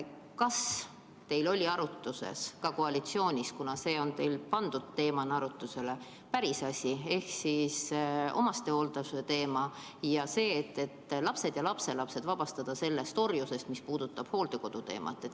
Kas teil oli arutlusel koalitsioonis, kuna see on teil pandud teemana arutlusele, päris asi ehk omastehoolduse teema ja see, et lapsed ja lapselapsed vabastada sellest orjusest, mis puudutab hooldekodusid?